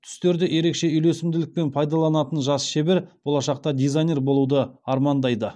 түстерді ерекше үйлесімділікпен пайдаланатын жас шебер болашақта дизайнер болуды армандайды